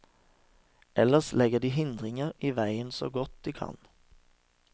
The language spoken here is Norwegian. Ellers legger de hindringer i veien så godt de kan.